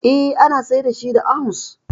Eh, ana sayar da shi da ounce